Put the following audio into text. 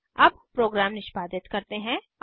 अब प्रग्राम निष्पादित करते हैं